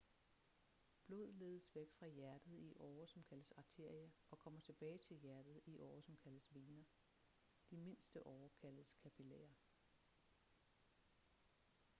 blod ledes væk fra hjertet i årer som kaldes arterier og kommer tilbage til hjertet i årer som kaldes vener de mindste årer kaldes kapillærer